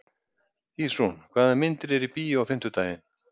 Ísrún, hvaða myndir eru í bíó á fimmtudaginn?